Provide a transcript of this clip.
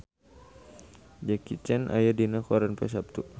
Jackie Chan aya dina koran poe Saptu